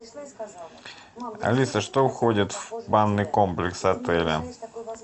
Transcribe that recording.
алиса что входит в банный комплекс отеля